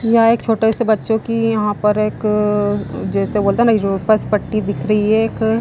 यह एक छोटे से बच्चों की यहां पर एक जो तो बोलते है ना पट्टी दिख रही है एक।